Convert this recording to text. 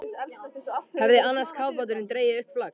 Hefði annar kafbáturinn dregið upp flagg.